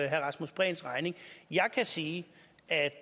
herre rasmus prehns regning jeg kan sige at